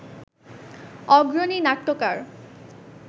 অগ্রণী নাট্যকার